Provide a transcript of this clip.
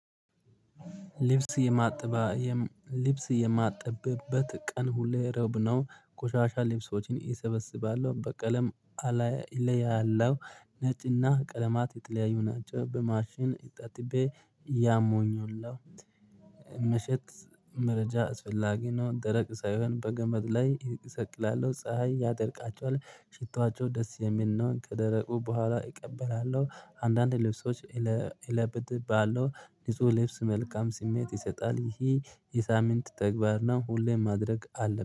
ልብስ የማጥባ ልብስ የማጥበበት ቀን ሁሌ ረብነው ቆሻሻ ልብሶችን እሰበስባለው በቀለም አላየ ላይ ያለው ነጭና ቀለማት የጥለያዩ ናቸው። በማሽን አጠጥቤ ያሞኙላል መሸጥ መረጃ አስፈላጊ ነው። ደረቅ ሳይሆን በገመድ ላይ ይሰቅላል ፀሀይ ያጠርቃቸዋል ሽቷቸው ደስ የሚል ነው። ከደረቁ በኋላ እቀበላለሁ። አንዳንድ ልብሶች እለብትብልዋለሁ። ንጹህ ልብስ መልካም ስሜት ይሰጣል። ይሄ የሳምንት ተግባር ነው። ሁሌም ማድረግ አለብን